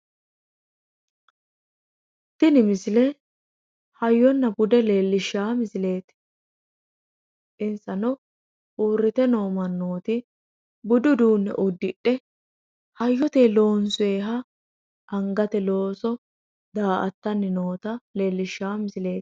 tini misile hayyonna bude leellishsha misileeti insano uurrite noo mannooti budu uduunne uddidhe hoyyotenni loonsooniha angate looso daa''attanni noota leellishawo misileeti.